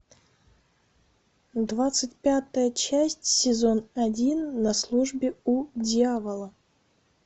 двадцать пятая часть сезон один на службе у дьявола